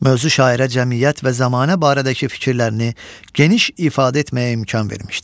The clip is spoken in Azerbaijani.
Mövzu şairə cəmiyyət və zəmanə barədəki fikirlərini geniş ifadə etməyə imkan vermişdir.